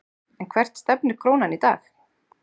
En hvert stefnir krónan í dag?